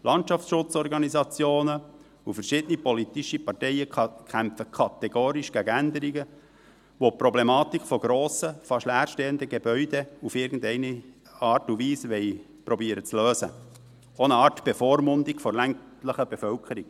Landschaftsschutzorganisationen, verschiedene politische Parteien kämpfen kategorisch gegen Änderungen, welche die Problematik von grossen, fast leerstehenden Gebäuden auf irgendeine Art und Weise zu lösen versuchen – auch eine Art Bevormundung der ländlichen Bevölkerung.